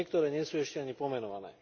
A niektoré nie sú ešte ani pomenované!